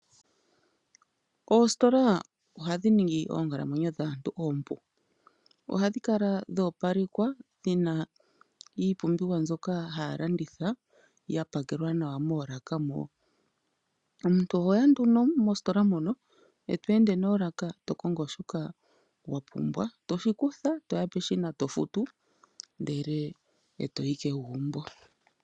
Oositola ohadhi ningi oonkalamwenyo dhaantu oompu. Ohadhi kala dhoopalekwa dhina iipumbiwa mbyoka haya landitha yapakelwa nawa moolaka mo. Omuntu oho ya nduno mositola muno eto ende noolaka to kongo shoka wa pumbwa, toshi kutha toya peshina toshifutu ndele eto yi kegumbo.